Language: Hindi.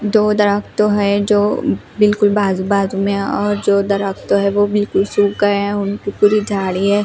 दो दरख़्त है जो बिल्कुल बाजू बाजू में और जो दरख्त है वो बिल्कुल सूख गए है उनकी पूरी झाड़ी है।